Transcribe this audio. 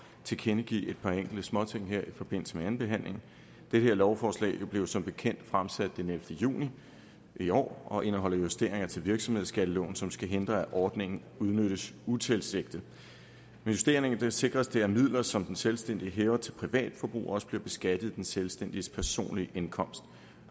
tilkendegive et par enkelte småting her i forbindelse med andenbehandlingen det her lovforslag blev jo som bekendt fremsat den ellevte juni i år og indeholder justeringer til virksomhedsskatteloven som skal hindre at ordningen udnyttes utilsigtet med justeringerne sikres det at midler som den selvstændige hæver til privatforbrug også bliver beskattet af den selvstændiges personlige indkomst